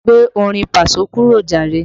Gbé orin paso kúrò jàre!